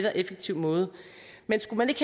og effektiv måde men skulle man ikke